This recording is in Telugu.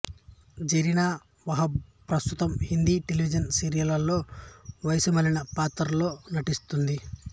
జరీనా వహాబ్ ప్రస్తుతం హిందీ టెలివిజన్ సీరియళ్లలో వయసు మళ్లిన పాత్రలలో నటిస్తున్నది